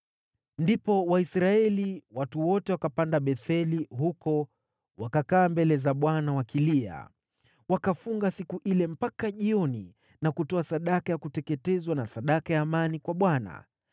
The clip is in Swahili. Ndipo Waisraeli, watu wote, wakapanda Betheli, huko wakakaa mbele za Bwana wakilia. Wakafunga siku ile mpaka jioni na kutoa sadaka ya kuteketezwa na sadaka ya amani kwa Bwana .